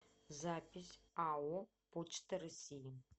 запись ао почта россии